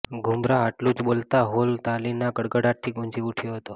ગુમરાહ આટલું જ બોલતા હોલ તાલીના ગડગડાટથી ગુંજી ઉઠ્યો હતો